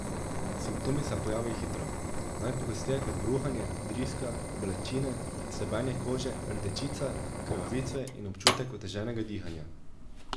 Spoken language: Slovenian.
Simptomi se pojavijo hitro, najpogosteje kot bruhanje, driska, bolečine, srbenje kože, rdečica, krvavitve in občutek oteženega dihanja.